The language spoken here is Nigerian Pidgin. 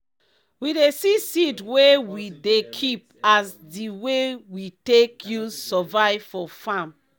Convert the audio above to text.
we dey see seed wey we dey keep as di way we take use survive for farm.